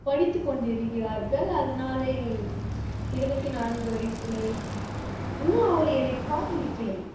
படித்து கொண்டிருக்கிறார்கள் அதனாலே இருபத்தி நான்கு வயசிலே இன்னும் அவ என்னை காதலிக்கலே